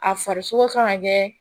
A farisogo kan ka kɛ